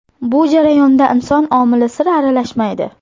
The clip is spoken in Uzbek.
Bu jarayonda inson omili sira aralashmaydi.